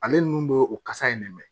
Ale ninnu bɛ o kasa in de